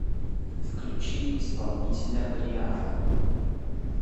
включи исполнителя брианна